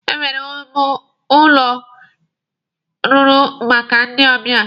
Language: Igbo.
Enwere ụlọ m rụrụ maka ndị ọbịa.